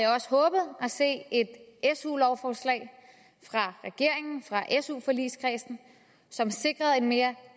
se et su lovforslag fra regeringen fra su forligskredsen som sikrede en mere